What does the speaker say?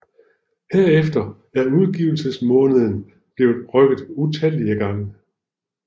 Herefter er udgivelsesmåneden blevet rykket utallige gange